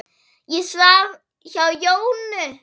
Ég svaf hjá Jónu.